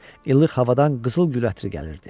Illıq havadan qızıl gül ətri gəlirdi.